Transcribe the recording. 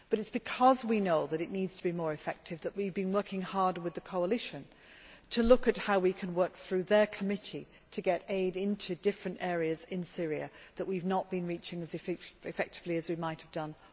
But it is because we know that it needs to be more effective that we have been working hard with the coalition to look at how we can work through their committee to get aid into different areas in Syria that we have not been reaching as effectively as we might have done.